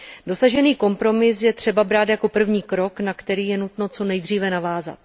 Dosažený kompromis je třeba brát jako první krok, na který je nutno co nejdříve navázat.